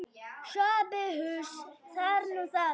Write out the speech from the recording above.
SOPHUS: Það er nú það.